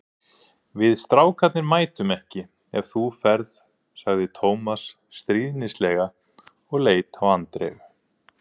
Við strákarnir mætum ekki ef þú ferð sagði Tómas stríðnislega og leit á Andreu.